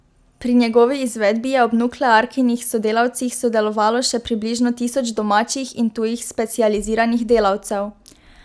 Pri njegovi izvedbi je ob nuklearkinih sodelavcih sodelovalo še približno tisoč domačih in tujih specializiranih delavcev.